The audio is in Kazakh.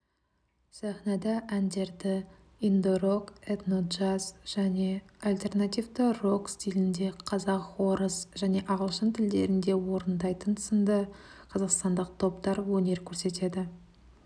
сахнада әндерді инди-рок этно-джаз және альтернативті рок стилінде қазақ орыс және ағылшын тілдерінде орындайтын сынды қазақстандық топтар өнер көрсетеді